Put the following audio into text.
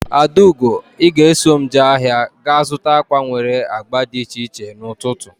Adaugo! I ga eso m jee ahịa ga zụta akwa nwere agba dị iche iche n'ututu